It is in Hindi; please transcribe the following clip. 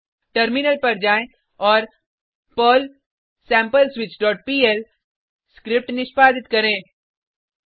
अब टर्मिनल पर जाएँ और पर्ल sampleswitchपीएल स्क्रिप्ट निष्पादित करें